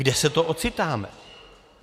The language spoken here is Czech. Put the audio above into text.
Kde se to ocitáme?